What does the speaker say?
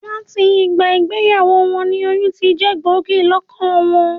Làti ìgbà ìgbeyàwó won ni oyún tijé gbògí lókàn won